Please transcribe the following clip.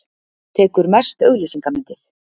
Tekur mest auglýsingamyndir.